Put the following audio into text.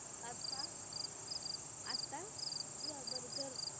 आत्ता आत्ता pizza burger